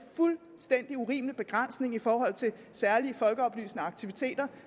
fuldstændig urimelige begrænsning i forhold til særlige folkeoplysende aktiviteter